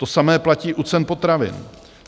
To samé platí u cen potravin.